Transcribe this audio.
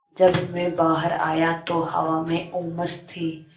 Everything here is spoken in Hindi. जब मैं बाहर आया तो हवा में उमस थी